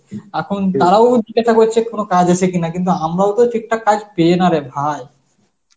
এখন তারাও জিজ্ঞাসা করছে কোন কাজ আছে কিনা কিন্তু আমরাও তো ঠিকঠাক পেয়ে নারে ভাই.